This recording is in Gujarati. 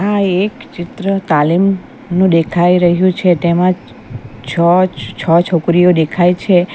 આ એક ચિત્ર તાલીમનું દેખાય રહ્યું છે તેમજ છ-છો છોકરીઓ દેખાય છે.